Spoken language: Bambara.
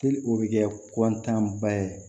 Teli o bɛ kɛ ba ye